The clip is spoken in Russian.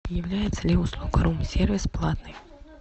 является ли услуга рум сервис платной